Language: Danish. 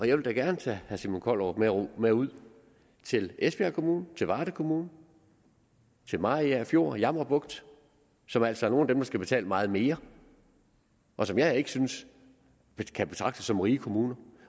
jeg vil da gerne tage herre simon kollerup med ud til esbjerg kommune til varde kommune til mariagerfjord og jammerbugt som altså er nogle af dem der skal betale meget mere og som jeg ikke synes kan betragtes som rige kommuner